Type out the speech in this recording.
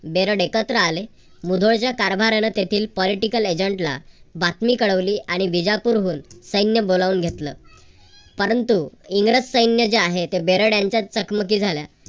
बेरड एकत्र आले. मुधोळच्या कारभाऱ्यान तेथील political agent ला बातमी कळवली आणि बिजापूरहून सैन्य बोलावून घेतलं. परंतु इंग्रज सैन्य जे आहे ते बेरड यांच्यात चकमकी झाल्या.